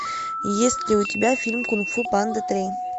есть ли у тебя фильм кунг фу панда три